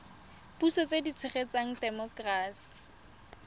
puso tse di tshegetsang temokerasi